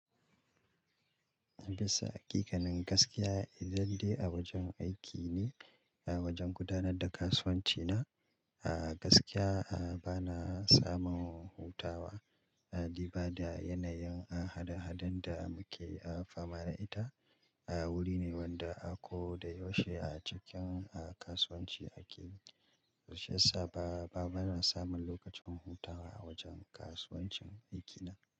Bisa, hakikanin gaskiya idan dai a wajen aiki ne, a wajen gudanar da kasuwanci ne. A gaskiya, ba na samun hutawa. Duba da yanayin hada-hadar da muke fama da ita. Wuri ne wanda a ko da yaushe a cikin kasuwanci ake. Shi ya sa ba na samun lokacin hutawashi yasa ba bana samun lokacin hutawa a wajen aikin kasuwancina.